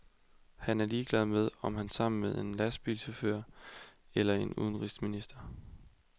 Han er ligeglad med, om han er sammen med en lastbilchauffør eller en udenrigsminister.